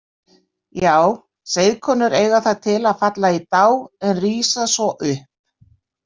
Já, seiðkonur eiga það til að falla í dá en rísa svo upp